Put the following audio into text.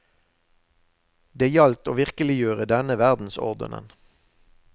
Det gjaldt å virkeliggjøre denne verdensordenen.